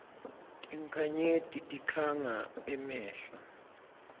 tinkhanyeti tikhanga emehlo